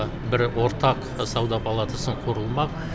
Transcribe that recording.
бір ортақ сауда палатасы құрылмақ